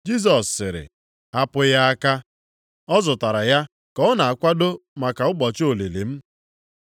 Jisọs sịrị, “Hapụ ya aka, ọ zụtara ya ka ọ na-akwado maka ụbọchị olili m.